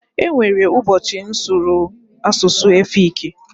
E nwere ụbọchị m sụrụ asụsụ efiki.